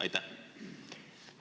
Aitäh!